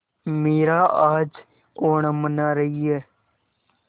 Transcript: मीरा आज ओणम मना रही है